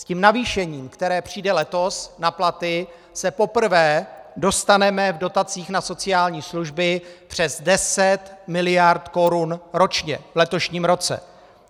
S tím navýšením, které přijde letos na platy, se poprvé dostaneme v dotacích na sociální služby přes 10 mld. korun ročně v letošním roce.